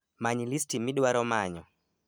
Many listi midwaro manyo